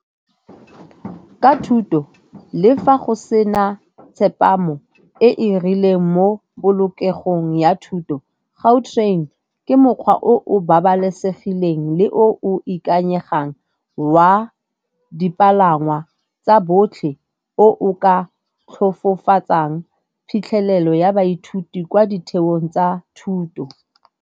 Ka thuto le fa go sena tsepamo e e rileng mo polokegong ya thuto, Gautrain ke mokgwa o o babalesegileng le o o ikanyegang wa dipalangwa tsa botlhe o ka tlhofofotsang phitlhelelo ya baithuti kwa ditheong tsa thuto.